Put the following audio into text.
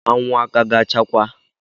Anwụ a ka ga achakwa?